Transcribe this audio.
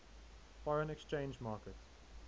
foreign exchange market